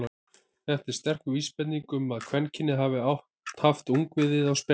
Þetta er sterk vísbending um að kvendýrin hafi haft ungviðið á spena.